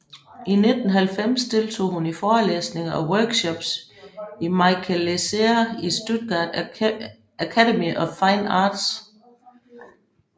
I 1990 deltog hun i forelæsninger og workshops i Michael Lesehr i Stuttgart Academy of Fine Arts